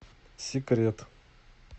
секрет